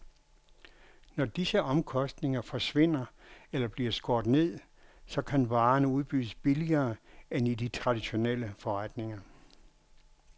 Når disse omkostninger forsvinder eller bliver skåret ned, så kan varerne udbydes billigere end i de traditionelle forretninger.